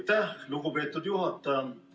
Aitäh, lugupeetud juhataja!